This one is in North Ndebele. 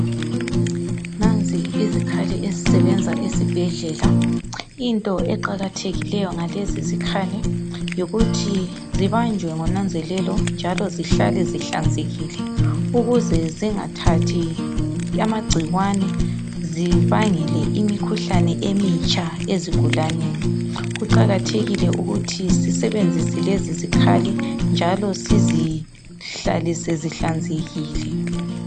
nanzi izikhali ezisebenza esibhedlela into eqakathekileyo ngalezi zikhali yikuthi zabanjwe ngonanzelelo njalo zihlale zihlanzekile ukuze zingathathi amagcikwane zibangele imikhuhlane emitsha ezigulaneni kuqakathekile ukuthi sisebenzise lezi zikhali njalo sizihlalise zihlanzekile